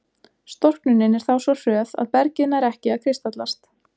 Storknunin er þá svo hröð að bergið nær ekki að kristallast.